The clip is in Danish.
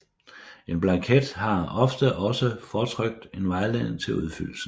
En blanket har ofte også fortrykt en vejledning til udfyldelsen